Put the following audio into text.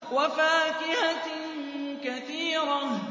وَفَاكِهَةٍ كَثِيرَةٍ